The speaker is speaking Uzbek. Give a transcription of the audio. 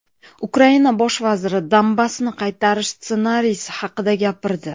Ukraina bosh vaziri Donbassni qaytarish ssenariysi haqida gapirdi.